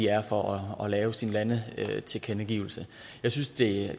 er for at lave sin landetilkendegivelse jeg synes det